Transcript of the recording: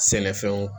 Sɛnɛfɛnw